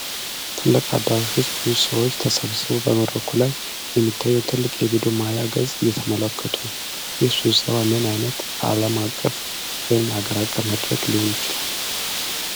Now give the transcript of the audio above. ትልቅ አዳራሽ ውስጥ ብዙ ሰዎች ተሰብስበው በመድረኩ ላይ የሚታየውን ትልቅ የቪዲዮ ማያ ገጽ እየተመለከቱ ነው። ይህ ስብሰባ ምን ዓይነት ዓለም አቀፍ ወይም አገር አቀፍ መድረክ ሊሆን ይችላል?